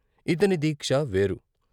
ఇతని దీక్ష వేరు.